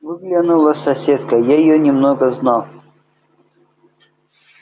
выглянула соседка я её немного знал